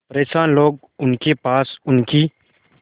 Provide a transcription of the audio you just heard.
परेशान लोग उनके पास उनकी